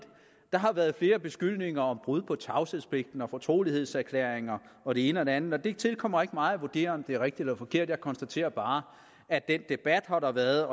der har været flere beskyldninger om brud på tavshedspligten og fortrolighedserklæringer og det ene og det andet og det tilkommer ikke mig at vurdere om det er rigtigt eller forkert jeg konstaterer bare at den debat har været